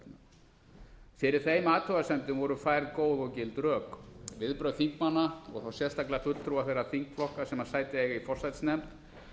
rannsóknarnefndarinnar fyrir þeim athugasemdum voru færð góð og gild rök viðbrögð þingmanna og sérstaklega fulltrúa þeirra þingflokka sem sæti eiga í forsætisnefnd